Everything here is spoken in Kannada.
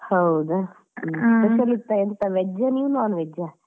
ಹೌದಾ special ಇತ್ತ ಅಲ್ಲಿ veg ಆ ನೀವ್ non veg ಆ?